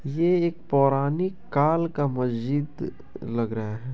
ये एक पौराणिक काल का मस्जिद लग रहा है।